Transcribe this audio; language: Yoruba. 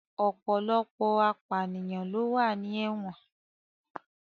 Ọ̀pọ̀lọpọ̀ apànìyàn ló wà ní ẹ̀wọ̀n